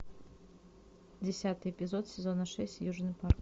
десятый эпизод сезона шесть южный парк